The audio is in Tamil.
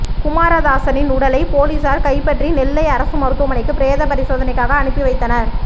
குமாரதாசின் உடலை போலீசார் கைப்பற்றி நெல்லை அரசு மருத்துவமனைக்கு பிரேத பரிசோதனைக்காக அனுப்பி வைத்தனர்